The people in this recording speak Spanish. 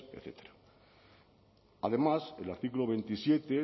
etcétera además el artículo veintisiete